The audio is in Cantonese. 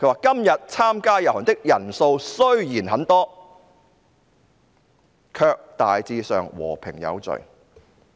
"今日參加遊行的人數雖然很多，卻大致上和平有序。